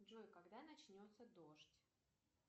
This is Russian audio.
джой когда начнется дождь